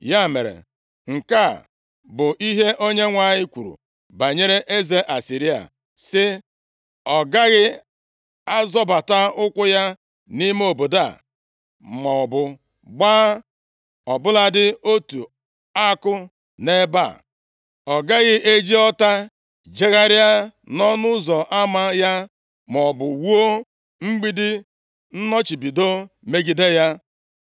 “Ya mere, nke a bụ ihe Onyenwe anyị kwuru banyere eze Asịrịa, sị, “ ‘Ọ gaghị azọbata ụkwụ ya nʼime obodo a maọbụ gbaa ọ bụladị otu àkụ nʼebe a. Ọ gaghị eji ọta jegharịa nʼọnụ ụzọ ama ya, maọbụ wuo mgbidi nnọchibido megide ya.